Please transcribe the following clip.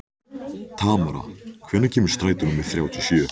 Tamara, hvenær kemur strætó númer þrjátíu og sjö?